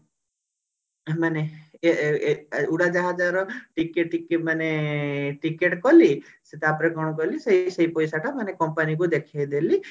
ମାନେ ଏ ଏ ଏ ଉଡାଜାହାଜ ର ଟିକେ ଟିକେ ମାନେ ticket କଲି ସେ ତାପରେ କଣ କଲି ସେ ସେ ପଇସା ଟା company କୁ ଦେଖେଇ ଦେଲି